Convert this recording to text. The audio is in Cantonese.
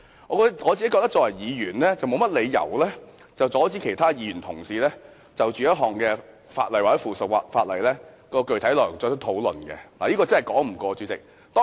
我認為作為議員，沒有理由阻止其他議員就某項法例或附屬法例的具體內容進行討論，主席，這真是說不過去。